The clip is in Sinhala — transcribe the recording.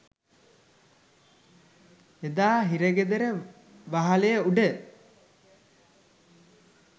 එදා හිරගෙදර වහලය උඩ